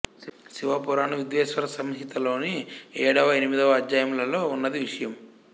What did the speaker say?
శివ పురాణం విద్వేశ్వర సంహితలోని ఏడవ ఎనిమిదవ అధ్యాయములలో ఉన్నదీ విషయం